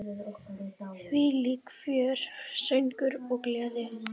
Þvílíkt fjör, söngur og gleði.